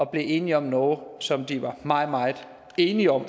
blevet enige om noget som de var meget meget enige om